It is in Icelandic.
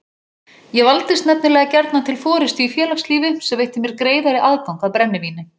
Ég valdist nefnilega gjarnan til forystu í félagslífi sem veitti mér greiðari aðgang að brennivíni.